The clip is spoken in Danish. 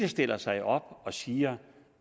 stiller sig op og siger